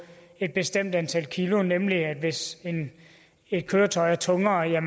et bestemt antal kilo nemlig den at hvis et køretøj er tungere